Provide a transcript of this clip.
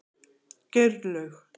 Geirlaug